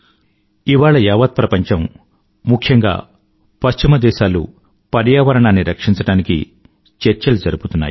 ఇవాళ యావత్ ప్రపంచం ముఖ్యంగా పశ్చిమ దేశాలు పర్యావరణను రక్షించడానికి చర్చలు జరుపుతున్నారు